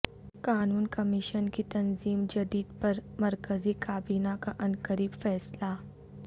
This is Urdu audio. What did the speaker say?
قانون کمیشن کی تنظیم جدید پر مرکزی کابینہ کا عنقریب فیصلہ